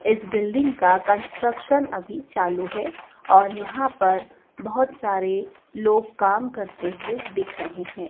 इस बिल्डिंग का कंस्ट्रक्शन अभी चालू है और यहां पर बहुत सारे लोग काम करते हुए दिख रहे हैं।